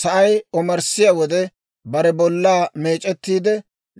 Sa'ay omarssiyaa wode, bare bollaa meec'ettiide,